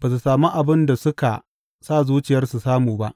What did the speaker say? ba su sami abin da suka sa zuciyar samu ba.